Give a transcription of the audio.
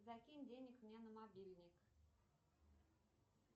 закинь денег мне на мобильник